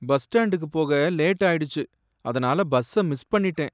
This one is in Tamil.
பஸ் ஸ்டாண்டுக்கு போக லேட் ஆயிடுச்சு, அதனால பஸ்ஸ மிஸ் பண்ணிட்டேன்